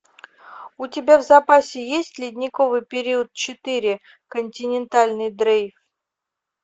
у тебя в запасе есть ледниковый период четыре континентальный дрейф